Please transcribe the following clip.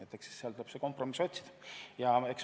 Tuleb kompromissi otsida.